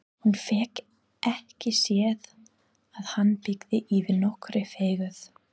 Hún fékk ekki séð að hann byggi yfir nokkurri fegurð.